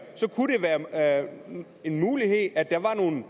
en mulighed at der var nogle